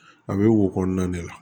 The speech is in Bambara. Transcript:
A bɛ wo kɔnɔna de la